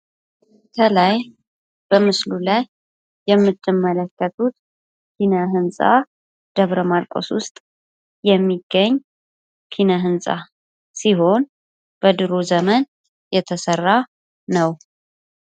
ከላይ በምስሉ ላይ የምትመለከቱት ኪነ-ህንጻ በደብረማርቆስ ውስጥ የሚገኝ ኪነ-ህንጻ ሲሆን በድሮ ዘመን የተሰራ ነው።